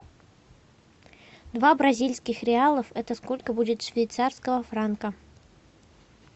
два бразильских реалов это сколько будет швейцарского франка